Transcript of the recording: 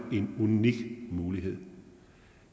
en unik mulighed